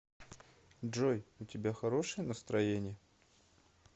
джой у тебя хорошее настроение